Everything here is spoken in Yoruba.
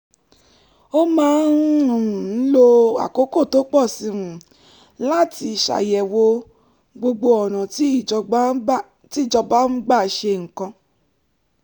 ó máa ń um lo àkókò tó pọ̀ sí um i láti ṣàyẹ̀wò gbogbo ọ̀nà tí ìjọba ń gbà ṣe nǹkan